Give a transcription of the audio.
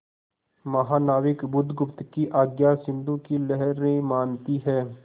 महानाविक बुधगुप्त की आज्ञा सिंधु की लहरें मानती हैं